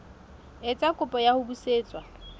etsa kopo ya ho busetswa